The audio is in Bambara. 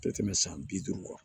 Tɛ tɛmɛ san bi duuru kan